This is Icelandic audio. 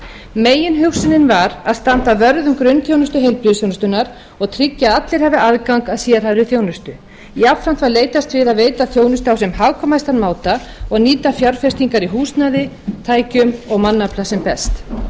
meginhugsunin var að standa vörð um grunnþjónustu heilbrigðisþjónustunnar og tryggja að allir hafi aðgang að sérhæfðri þjónustu jafnframt að leitast við að veita þjónustu á sem hagkvæmastan máta og nýta fjárfestingar í húsnæði tækjum og mannafla sem best